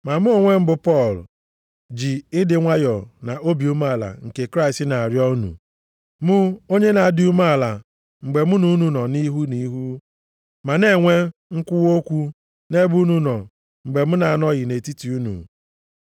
Ma mụ onwe m bụ Pọl, ji ịdị nwayọọ na obi umeala nke Kraịst na-arịọ unu. Mụ, onye na-adị umeala mgbe mụ na unu nọ nʼihu nʼihu, ma na-enwe mkwuwa okwu nʼebe unu nọ mgbe m na-anọghị nʼetiti unu.